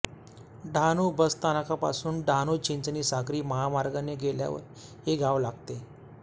डहाणू बस स्थानकापासून डहाणूचिंचणी सागरी महामार्गाने गेल्यावर हे गाव लागते